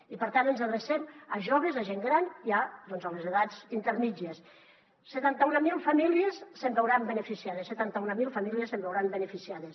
i per tant ens adrecem a joves a gent gran i doncs a les edats intermèdies setanta mil famílies se’n veuran beneficiades setanta mil famílies se’n veuran beneficiades